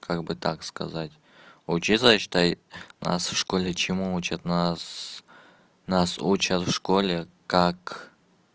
как бы так сказать учится считай нас в школе чему учат нас нас учат в школе как